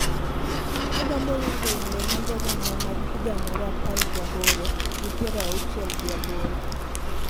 Agombo winjo wende mag oganda mag higa mar apar gi aboro gi piero auchiel gi aboro